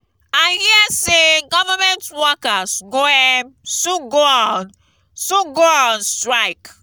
i hear say government workers go um soon go on soon go on strike